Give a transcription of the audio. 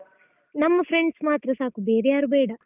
ನಮ್ಮ friends ಮಾತ್ರ ಸಾಕು, ಬೇರೆ ಯಾರು ಬೇಡ.